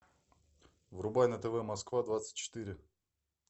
врубай на тв москва двадцать четыре